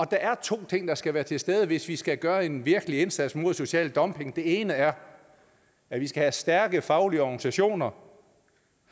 der er to ting der skal være til stede hvis vi skal gøre en virkelig indsats mod social dumping den ene er at vi skal have stærke faglige organisationer